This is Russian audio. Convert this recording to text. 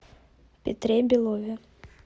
петре белове